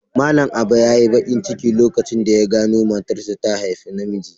Malam Aba yayi bakin ciki lokacin da ya gano matarsa ta haifi namiji.